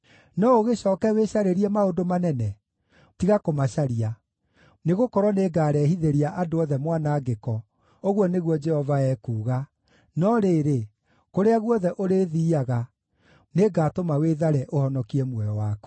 No ũgĩcooke wĩcarĩrie maũndũ manene? Tiga kũmacaria. Nĩgũkorwo nĩngarehithĩria andũ othe mwanangĩko, ũguo nĩguo Jehova ekuuga, no rĩrĩ, kũrĩa guothe ũrĩthiiaga nĩngatũma wĩthare ũhonokie muoyo waku.’ ”